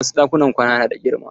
Wasu ɗakunan kwana na da girma.